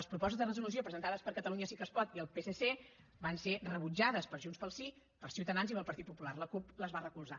les propostes de resolució presentades per catalunya sí que es pot i el psc van ser rebutjades per junts pel sí per ciutadans i pel partit popular la cup les va recolzar